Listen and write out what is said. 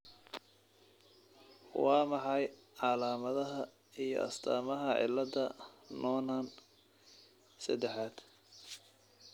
Waa maxay calaamadaha iyo astaamaha cilada Noonan sedexaaad?